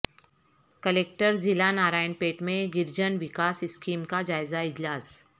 collector ضلع Narayanpet میں Girijan Vikas scheme کا جائزہ اجلاس